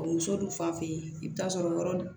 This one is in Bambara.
Muso dun fan fɛ i bi t'a sɔrɔ yɔrɔ